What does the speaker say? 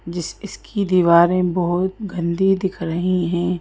जिस इसकी दीवारें बहोत गंदी दिख रही हैं।